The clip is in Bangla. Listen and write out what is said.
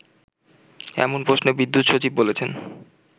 এমন প্রশ্নে বিদ্যুৎ সচিব বলেছেন